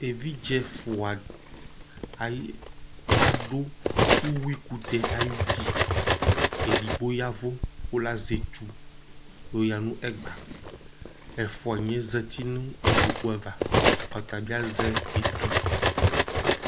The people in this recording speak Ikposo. Evidze ɛfʋa adu ʋwʋi kʋtɛ ayʋ ʋti Ɛdigbo yavʋ kʋ lazɛ etu yɔ ya nʋ ɛgba Ɛfʋaniɛ zɛti nʋ ikpoku ava Ɔta bi azɛ etu